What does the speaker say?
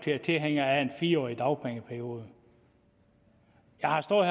er tilhænger af en fire årig dagpengeperiode jeg har stået